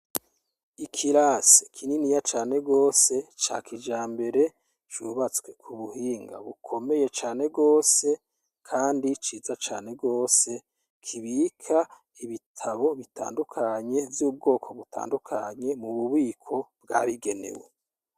Ikirasi kininiya cane gwose ca kijambere cubatswe k'ubuhinga bukomeye cane gwose Kandi ciza cane rwose kibika ibitabo bitandukanye vy'ubwoko butandukanye mububiko bwabigenewe.